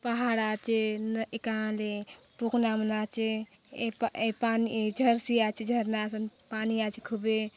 पहाड़ आचे न एका ले पखना मन आचे ए पा ए पानी जर्सी आचे झरना सन पानी आचे खूबे।